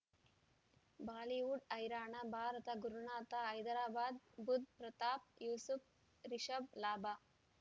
Bollywood ಹೈರಾಣ ಭಾರತ ಗುರುನಾಥ ಹೈದರಾಬಾದ್ ಬುಧ್ ಪ್ರತಾಪ್ ಯೂಸುಫ್ ರಿಷಬ್ ಲಾಭ